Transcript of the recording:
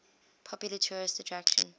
popular tourist attraction